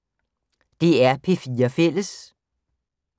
DR P4 Fælles